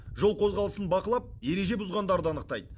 жол қозғалысын бақылап ереже бұзғандарды анықтайды